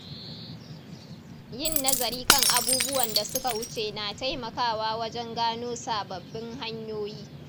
Yin nazari kan abubuwan da suka wuce na taimakawa wajen gano sababbin hanyoyi.